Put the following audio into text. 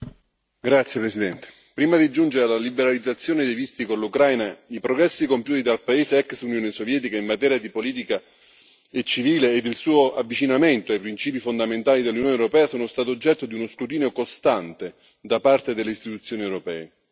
Signor Presidente, onorevoli colleghi, prima di giungere alla liberalizzazione dei visti con l'Ucraina, i progressi compiuti dal paese dell'ex Unione Sovietica in materia di politica e civile ed il suo avvicinamento ai principi fondamentali dell'Unione europea sono stati oggetto di uno scrutinio costante da parte delle istituzioni europee.